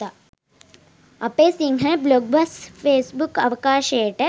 අපේ සිංහල බ්ලොග් බස් ෆේස්බුක් අවකාශයට